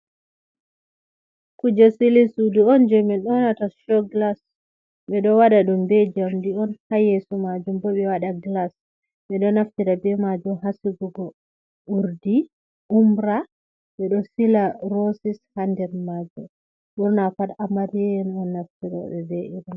Kuje sili sudu on je min ɗonata show glas ɓedo waɗa ɗum be jamdi on ha yeso majum bo ɓe wada glas, ɓeɗo naftira be majum ha sigugo urdi, umra, ɓeɗo sila rossis ha nder majum ɓurna pat amariya en on naftiriɓe be irin ɗo.